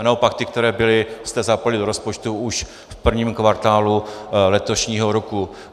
A naopak ty, které byly, jste zapojili do rozpočtu už v prvním kvartálu letošního roku.